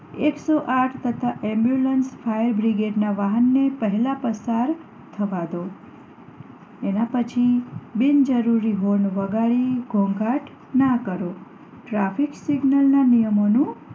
એક સો આઠ તથા ambulance ફાયર બ્રિગેડ ના વાહન ને પહેલા પસાર થવા દો એના પછી બિન જરૂરી horn વગાડી ઘોંઘાટ ન કરો traffic signal ના નિયમો નું